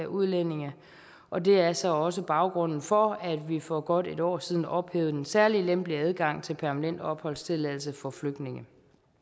udlændinge og det er så også baggrunden for at vi for godt et år siden ophævede den særlig lempelige adgang til permanent opholdstilladelse for flygtninge